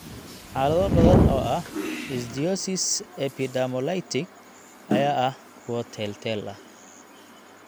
Xaalado badan oo ah ichthyosis epidermolytic (EI) ayaa ah kuwo teel-teel ah.